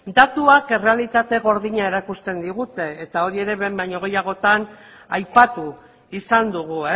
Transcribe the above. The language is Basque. datuek errealitate gordina erakusten digute eta hori ere behin baino gehiagotan aipatu izan dugu